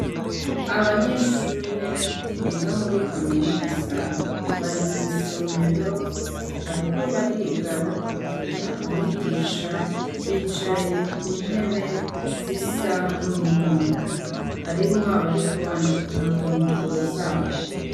Abanyeshuri biga muri kaminuza bari mw'isomero bariko bariga bakurikira umwigisha bicaye ku ntebe zisa n'umuhondo hariho abariko bandika ku mpapuro zabo.